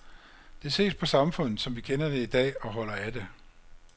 Det ses på samfundet som vi kender det i dag og holder af det.